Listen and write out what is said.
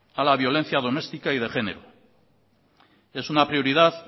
a la violencia doméstica y de género es una prioridad